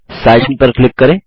sign in पर click करें